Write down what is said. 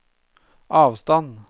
avstand